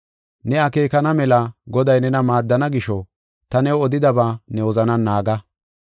Ne akeekana mela Goday nena maaddana gisho, ta new odidaba ne wozanan naaga.